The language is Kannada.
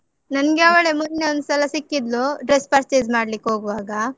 ನನ್ಗೆ ಅವಳೇ ಮೊನ್ನೆ ಒಂದ್ಸಲ ಸಿಕ್ಕಿದ್ಲು, dress purchase ಮಾಡ್ಲಿಕ್ಕ್ ಹೋಗ್ವಾಗ.